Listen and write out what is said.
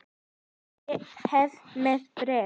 Ég er hér með bréf!